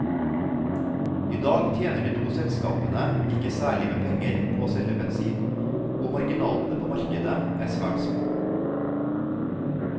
I dag tjener de to selskapene ikke særlig med penger på å selge bensin, og marginalene på markedet er svært små.